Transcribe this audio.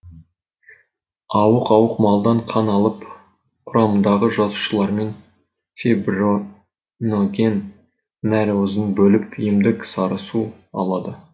ауық ауық малдан қан алып құрамындағы жасушалармен фибриноген нәруызын бөліп емдік сарысу алады